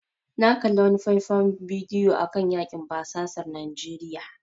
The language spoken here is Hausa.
Na kalli wani faifan bidiyo akan yakin basasar Najeriya.